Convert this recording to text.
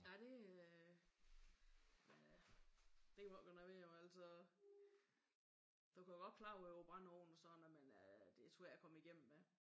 Ja det er men øh det kan jeg ikke gøre noget ved jo altså. Du kan godt klare dig uden brændeovne men sådan det er svært at komme igennem med